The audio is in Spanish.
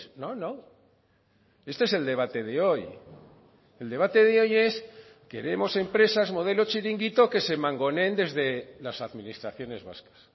no no este es el debate de hoy el debate de hoy es queremos empresas modelo chiringuito que se mangoneen desde las administraciones vascas